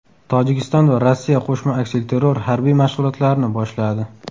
Tojikiston va Rossiya qo‘shma aksilterror harbiy mashg‘ulotlarini boshladi.